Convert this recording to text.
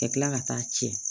Ka kila ka taa tiɲɛ